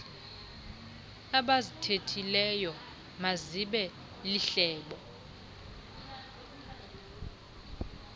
abazithethileyo mazibe lihlebo